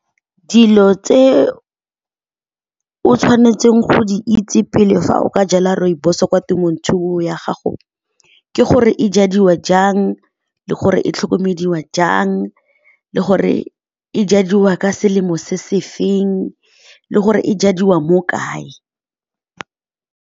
Dilo tse o tshwanetseng go di itse pele fa o ka jala rooibos kwa temothuo ya gago ke gore e jadiwa jang, le gore e tlhokomediwa jang, le gore e jadiwa ka selemo se se feng, le gore e jadiwa mo kae.